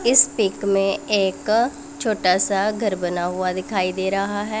इस पिक में एक छोटा सा घर बना हुआ दिखाई दे रहा है।